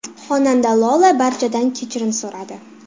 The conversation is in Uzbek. Xonanda Lola barchadan kechirim so‘radi.